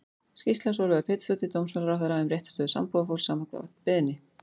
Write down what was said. Skýrsla Sólveigar Pétursdóttur dómsmálaráðherra um réttarstöðu sambúðarfólks, samkvæmt beiðni.